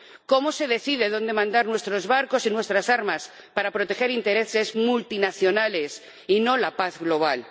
¿Cómo se decide dónde mandar nuestros barcos y nuestras armas para proteger intereses multinacionales y no la paz global?